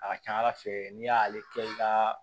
A ka ca ala fɛ n'i y'ale kɛ i ka